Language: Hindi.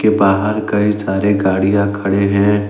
के बाहर कई सारे गाड़ियां खड़े हैं।